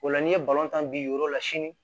O la n'i ye tan bin yɔrɔ la sini